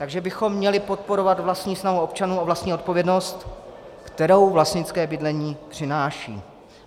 Takže bychom měli podporovat vlastní snahu občanů o vlastní odpovědnost, kterou vlastnické bydlení přináší.